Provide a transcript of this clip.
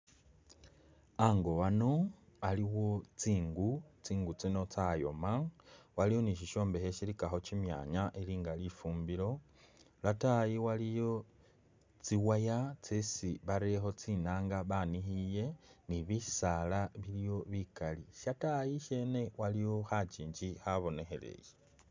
Ango ano aliwo tsingu, tsingu tsino tsayooma , Waliwo ni shishombekhe shilikakho kyimyaanya ilinga lifumbilo lwataayi waliyo tsiwaaya tsesi bateyekho tsinanga banikhiile ni bisaala biliwo bikaali, shataayi ishene waliyo khakyingi khabonekheleye.